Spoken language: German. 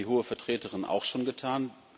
das hat die Hohe Vertreterin auch schon getan.